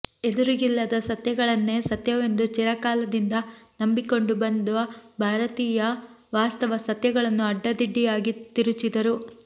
ಎದುರಿಗಿಲ್ಲದ ಸತ್ಯಗಳನ್ನೇ ಸತ್ಯವೆಂದು ಚಿರಕಾಲದಿಂದ ನಂಬಿಕೊಂಡು ಬಂದು ಭಾರತೀಯ ವಾಸ್ತವ ಸತ್ಯಗಳನ್ನು ಅಡ್ಡಾದಿಡ್ಡಿಯಾಗಿ ತಿರುಚಿದರು